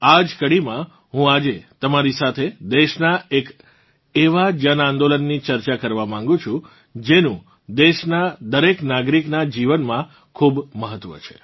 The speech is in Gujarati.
આ જ કડીમાં હું આજે તમારી સાથે દેશનાં એક એવાં જનઆંદોલનની ચર્ચા કરવાં માગું છું જેનું દેશનાં દરેક નાગરિકનાં જીવનમાં ખૂબ મહત્વ છે